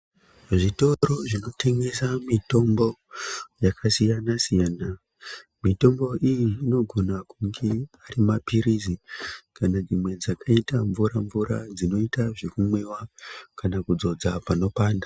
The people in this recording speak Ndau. Zvitoro zvinotengesa mitombo yakasiyana-siyana, mitombo iyi inogone kunge ari maphirizi kana dzimwe dzakaita mvura-mvura dzinoita zvekumwiva, kana kudzodza panopanda.